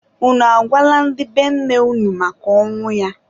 Unu agwala ndị be nne unu maka ọnwụ ya?